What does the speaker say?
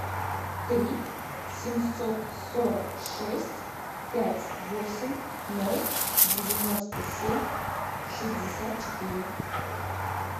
три семьсот сорок шесть пять восемь ноль девяносто семь шестьдесят четыре